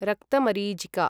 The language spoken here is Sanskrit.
रक्तमरीचिका